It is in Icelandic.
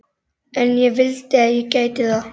En ég vildi að ég gæti það.